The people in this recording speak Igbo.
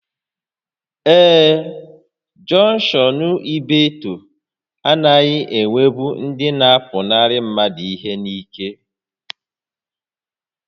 Ee, jọnkshọn Ibeeto anaghị enwebụ ndị na-apụnarị mmadụ ihe n'ike